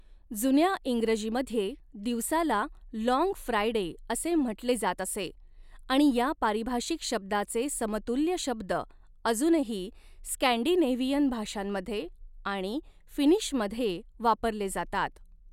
जुन्या इंग्रजीमध्ये, दिवसाला 'लाँग फ्रायडे' असे म्हटले जात असे आणि या पारिभाषिक शब्दाचे समतुल्य शब्द अजूनही स्कॅन्डिनेव्हियन भाषांमध्ये आणि फिनिशमध्ये वापरले जातात.